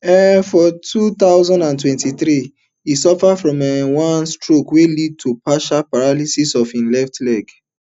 um for two thousand and twenty-three e suffer from um one stroke wey lead to partial paralysis of hin left leg